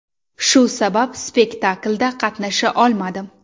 Shu sabab, spektaklda qatnasha olmadim.